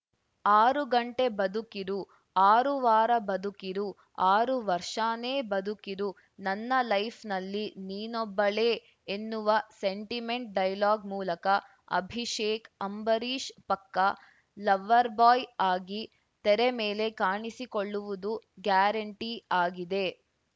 ಆರು ಗಂಟೆ ಬದುಕಿರು ಆರು ವಾರ ಬದುಕಿರು ಆರು ವರ್ಷನೇ ಬದುಕಿರು ನನ್ನ ಲೈಫ್‌ನಲ್ಲಿ ನೀನೋಬ್ಬಳೆ ಎನ್ನುವ ಸೆಂಟಿಮೆಂಟ್‌ ಡೈಲಾಗ್‌ ಮೂಲಕ ಅಭಿಷೇಕ್‌ ಅಂಬರೀಷ್‌ ಪಕ್ಕಾ ಲವ್ವರ್‌ಬಾಯ್‌ ಆಗಿ ತೆರೆಮೇಲೆ ಕಾಣಿಸಿಕೊಳ್ಳುವುದು ಗ್ಯಾರಂಟಿ ಆಗಿದೆ